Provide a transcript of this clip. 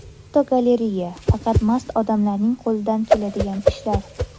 Fotogalereya: Faqat mast odamlarning qo‘lidan keladigan ishlar.